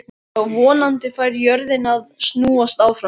Já, vonandi fær jörðin að snúast áfram.